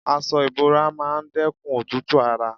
Aṣọ ìbora máa dẹ́kun òtútù ara.